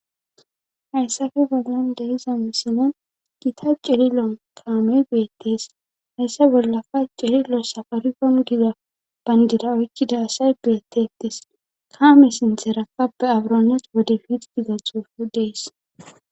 hayssafe bollan deiza misinan gita celilon kaame geyettes hayssa bollafa celilo safarigon giza bandida oykkida asay geyettetes kaame sintherakappe abronas wodefid giza xuufu dees